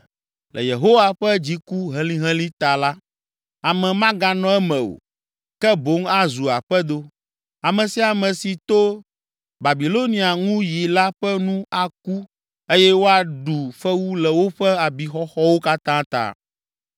Le Yehowa ƒe dziku helĩhelĩ ta la, ame maganɔ eme o, ke boŋ azu aƒedo. Ame sia ame si to Babilonia ŋu yi la ƒe nu aku eye woaɖu fewu le woƒe abixɔxɔwo katã ta.